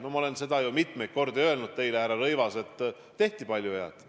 No ma olen seda ju teile mitmeid kordi öelnud, härra Rõivas, et tehti palju head.